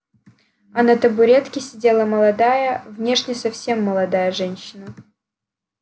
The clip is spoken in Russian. а на табуретке сидела молодая внешне совсем молодая женщина